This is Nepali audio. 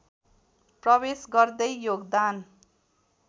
प्रवेश गर्दै योगदान